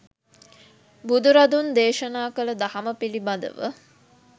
බුදුරදුන් දේශනා කළ දහම පිළිබඳව